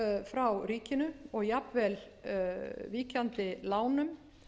frá ríkinu og jafnvel víkjandi lánum